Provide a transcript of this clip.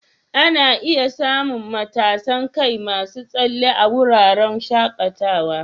Ana iya samun matasan kai masu tsalle a wuraren shakatawa.